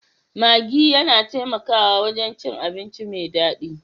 Maggi yana taimakawa wajen cin abinci mai daɗi